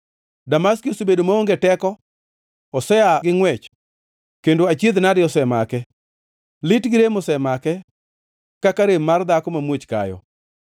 Damaski osebedo maonge teko, osea gi ngʼwech, kendo achiedh-nade osemake; lit gi rem osemake, kaka rem mar dhako mamuoch kayo.